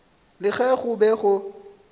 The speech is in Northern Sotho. le ge go be go